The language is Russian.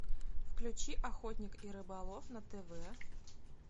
включи охотник и рыболов на тв